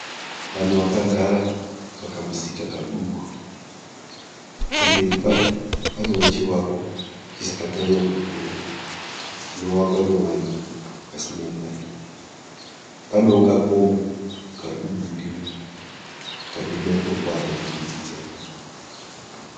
Vanhu vakagara pakamusika kaduku, pamberi pacho panewo chivako chisina kunyanya kukura chinovakwa nevanhu vasina mari, panewo kakomo kari kubudira kane matombo akaturikidzana.